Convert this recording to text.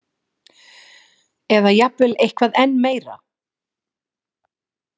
Eða jafnvel eitthvað enn meira?